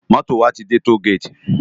Moto wá ti dè tógéti